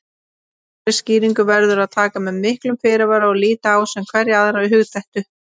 Þessari skýringu verður að taka með miklum fyrirvara og líta á sem hverja aðra hugdettu.